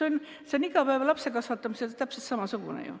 Lapse kasvatamise puhul on ju täpselt samamoodi.